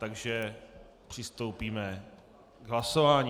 Takže přistoupíme k hlasování.